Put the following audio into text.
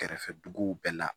Kɛrɛfɛ duguw bɛɛ la